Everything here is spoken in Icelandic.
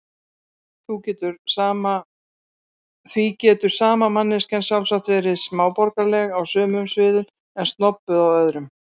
Því getur sama manneskjan sjálfsagt verið smáborgaraleg á sumum sviðum en snobbuð á öðrum.